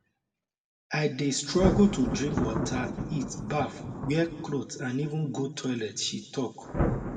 i dey struggle to drink water eat baff wear cloth and even go toilet she tok